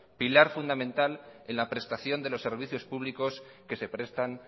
pilar fundamental en la prestación de los servicios públicos que se prestan